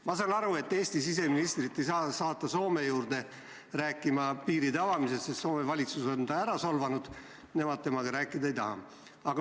Ma saan aru, et Eesti siseministrit ei saa saata Soome rääkima piiride avamisest, sest Soome valitsuse on ta ära solvanud, nemad temaga rääkida ei taha.